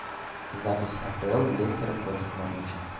запись апл лестера против норвича